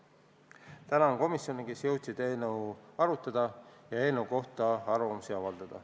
Tänan komisjone, kes jõudsid eelnõu arutada ja eelnõu kohta arvamust avaldada.